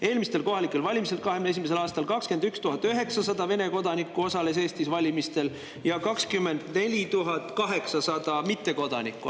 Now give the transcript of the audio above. Eelmistel kohalikel valimistel, 2021. aastal, osales Eestis valimistel 21 900 Vene kodanikku ja 24 800 mittekodanikku.